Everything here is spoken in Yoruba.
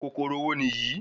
kòkòrò wo niyi?